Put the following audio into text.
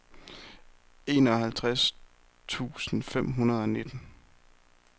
enoghalvtreds tusind fem hundrede og nitten